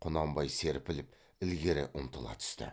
құнанбай серпіліп ілгері ұмтыла түсті